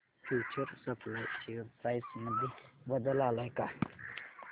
future supply share price मध्ये बदल आलाय का